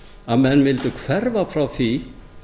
að menn vildu hverfa frá því